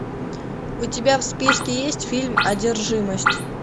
у тебя в списке есть фильм одержимость